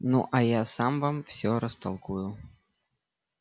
ну а я сам вам всё растолкую